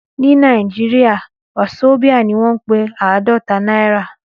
Ní Nàìjíríà, wasobia ni wọ́n ń pe àádọ́ta náírà